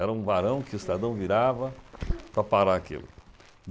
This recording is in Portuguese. Era um varão que o estadão virava para parar aquilo.